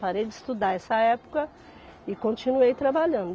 Parei de estudar essa época e continuei trabalhando.